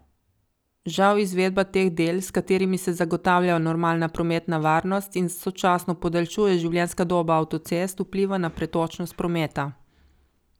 Žal izvedba teh del, s katerimi se zagotavlja normalna prometna varnost in sočasno podaljšuje življenjska doba avtocest, vpliva na pretočnost prometa.